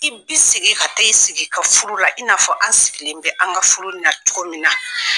I bɛ segin ka taa i sigi ka furu la i na fɔ an sigilen bɛ an ka furu na cogo min na.